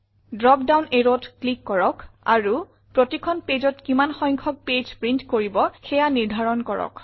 drop ডাউন arrowত ক্লিক কৰক আৰু প্ৰতিখন pageত কিমান সংখ্যক পেজ প্ৰিণ্ট কৰিব সেয়া নিৰ্ধাৰণ কৰক